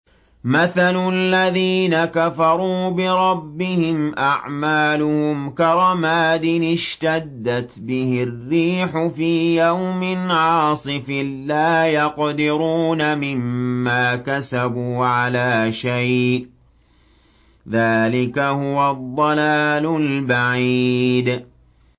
مَّثَلُ الَّذِينَ كَفَرُوا بِرَبِّهِمْ ۖ أَعْمَالُهُمْ كَرَمَادٍ اشْتَدَّتْ بِهِ الرِّيحُ فِي يَوْمٍ عَاصِفٍ ۖ لَّا يَقْدِرُونَ مِمَّا كَسَبُوا عَلَىٰ شَيْءٍ ۚ ذَٰلِكَ هُوَ الضَّلَالُ الْبَعِيدُ